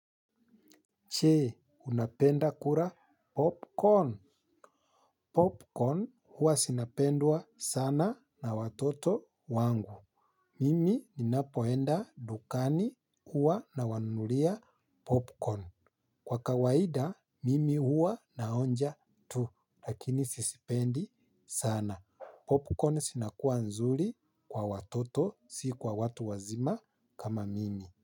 Jee unapenda kula popcorn? Popcorn huwa zinapendwa sana na watoto wangu. Mimi ninapoenda dukani huwa nawanunulia popcorn. Kwa kawaida mimi huwa naonja tu lakini sizipendi sana. Popcorn zinakua nzuri kwa watoto si kwa watu wazima kama mimi.